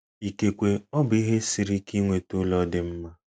Ikekwe ọ bụ ihe siri ike ịnweta ụlọ dị mma.